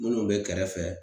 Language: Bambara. Min kun be kɛrɛfɛ